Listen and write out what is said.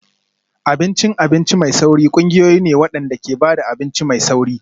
Abincin abinci mai sauri ƙungiyoyi ne waɗanda ke ba da abinci mai sauri.